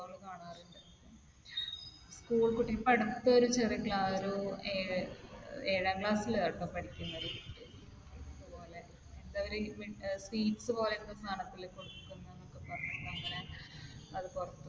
school കുട്ടികൾ ഇപ്പൊ അടുത്ത് ആരോ ഏഴാം class ൽ ആട്ടോ പഠിക്കുന്നത്. ഇതുപോലെ എന്തോ ഒരു sweets പോലെ എന്തോ സാധനത്തിൽ കൊടുക്കുന്നുന്നൊക്കെ പറഞ്ഞിട്ട് അങ്ങനെ അത് പുറത്ത് വന്നു.